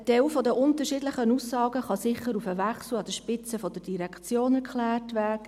Ein Teil der unterschiedlichen Aussagen kann sicher auf den Wechsel an der Spitze der Direktion erklärt werden.